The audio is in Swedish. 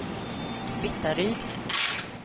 Vittaryd